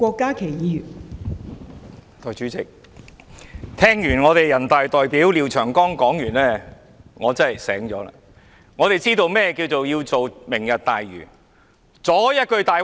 代理主席，聽罷人大代表廖長江議員的發言，我真的醒悟了，我們明白為何要推行"明日大嶼願景"計劃。